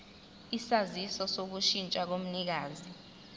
isaziso sokushintsha komnikazi